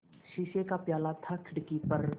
शीशे का प्याला था खिड़की पर